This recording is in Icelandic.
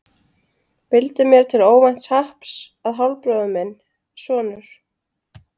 Vildi mér til óvænts happs að hálfbróðir minn, sonur